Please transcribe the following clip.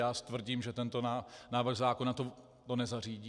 Já tvrdím, že tento návrh zákona to nezařídí.